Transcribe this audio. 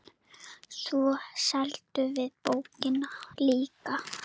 Svo seldum við bókina líka.